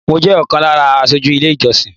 Mọ jẹ́ ọ̀kan lára aṣojú ilé ìjọsìn